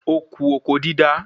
Óku oko dídá